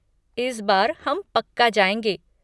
इस बार हम पक्का जाएँगे।